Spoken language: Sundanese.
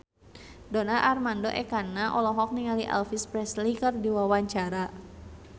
Donar Armando Ekana olohok ningali Elvis Presley keur diwawancara